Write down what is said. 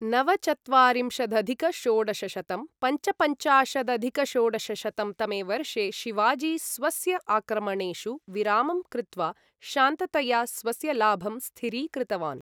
नवचत्वारिंशदधिक षोडशशतं पञ्चपञ्चाशदधिक षोडशशतं तमे वर्षे शिवाजी स्वस्य आक्रमणेषु विरामं कृत्वा शान्ततया स्वस्य लाभम् स्थिरीकृतवान्।